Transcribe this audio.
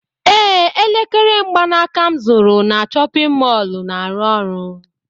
Ee, elekere mgbanaka m zụtara na chọpịn mọọlụ na-arụ ọrụ.